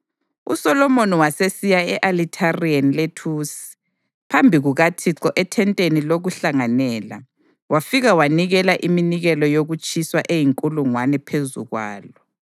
USolomoni wasesiya e-Alithareni lethusi phambi kukaThixo ethenteni lokuhlanganela wafika wanikela iminikelo yokutshiswa eyinkulungwane phezu kwalo.